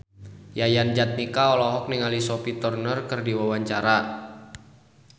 Yayan Jatnika olohok ningali Sophie Turner keur diwawancara